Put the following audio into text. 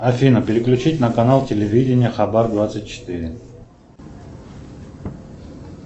афина переключить на канал телевидения хабар двадцать четыре